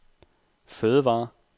fødevarer